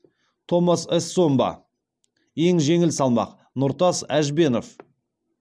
томас эссомба ең жеңіл салмақ нұртас әжбенов